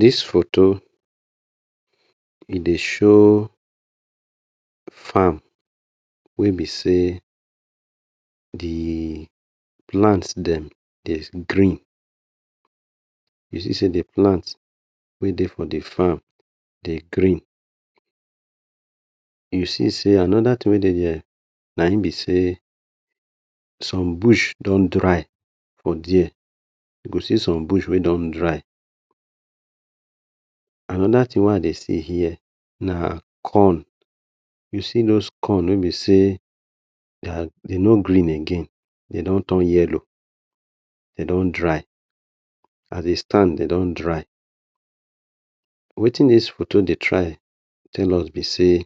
Dis foto e dey show farm wey be sey, the plant dem dey green, you see sey the plant wey dey for the farm dey green, you see sey anoda tin wey dey na in be sey some bush don dry for dia, you go see some bush wey don dry. Anoda wey I dey see here na corn, you see dos corn wey be sey dem no green again, de don torn yellow de don dry na the stand de don dry. Wetin dis foto dey try tell us be sey,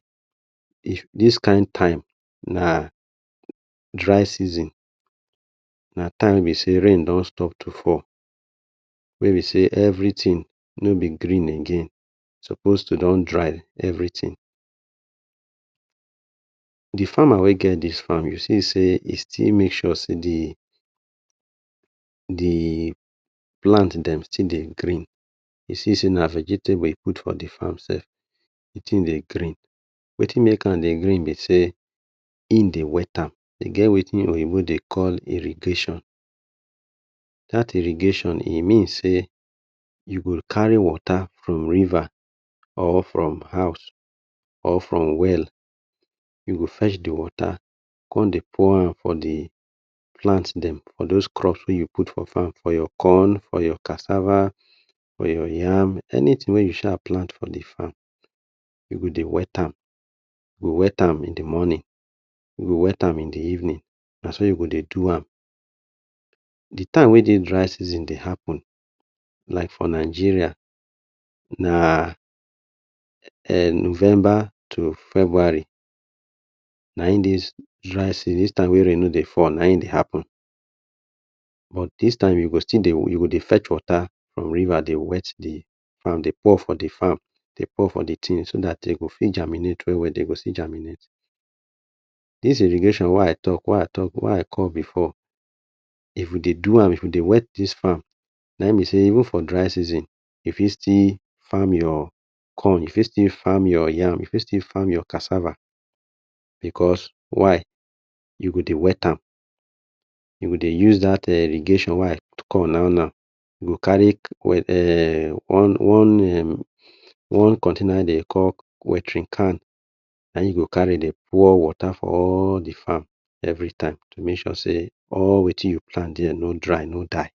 if dis kind time, na dry season, na time be sey rain don stop to fall be sey every tin no be dream again, e suppose to don dry every tin. The farmer wey get dis fam you see sey e still make sure sey the plant dem still dey green, you see sey na vegetable e put for the farm, the tin dey green. Wetin make am dey green be sey im dey wet am, e get wetin oyibo dey call irrigation, dat irrigation e mean sey you go kari water from river or from house or from well, you go fetch the water come dey pour am for the plant dem for the crop wey you put for fam. For your corn, for your kasava, for your yam, anytin wey you sha plant for the fam, you go dey wet am, you go wet am in the mornin, wet am in the evenin na so you go dey do am. The time wey the dry season dey happen like for Nigeria na November to February, na in dis, dis time wey rain no dey fall na in dey happen, but dis time you go dey fech water from the riva dey wet the fam dey pour for the tin so dat de go fit germinate well well, dey go still germinate. This irrigation wey I call before if you dey do am if you dey wet dis fam, even for dry season, you fit still fam your corn you fit still fam your yam, you fit still fam your cassava because why? You go dey wet am. You go dey use dat irrigation wey I call now-now, you go kari one container wey I call waterin can na in you go de kari dey pour water for all the farm every time to make sure sey, all wetin you plant no dry, no die.